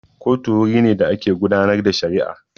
Kotu wuri ne da ake gudanar da shari'a